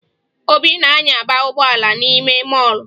Obi na-anyaba ụgbọala n'ime mọọlụ